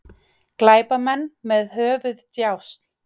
Glæpamenn með höfuðdjásn